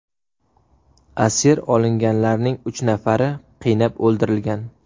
Asir olinganlarning uch nafari qiynab o‘ldirilgan.